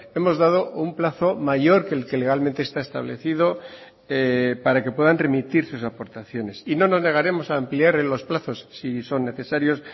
hemos dado un plazo mayor que el que legalmente está establecido para que puedan remitir sus aportaciones y no nos negaremos a ampliar en los plazos si son necesarios